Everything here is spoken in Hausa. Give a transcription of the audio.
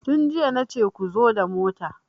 Tun jiya nace ku zo da mota!